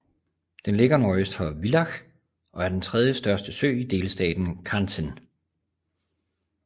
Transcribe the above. Den ligger nordøst for Villach og er den tredjestørste sø i delstaten Kärnten